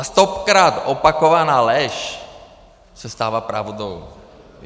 A stokrát opakovaná lež se stává pravdou.